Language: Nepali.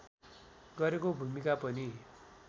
गरेको भूमिका पनि